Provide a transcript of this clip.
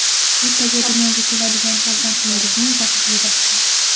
Ertaga dunyoga keladigan farzandlaringizning taqdiri.